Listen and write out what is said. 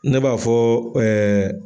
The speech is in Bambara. Ne b'a fɔ ɛɛ.